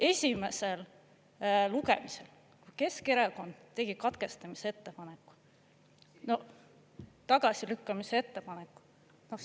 Esimesel lugemisel Keskerakond tegi katkestamise ettepaneku, no tagasilükkamise ettepaneku.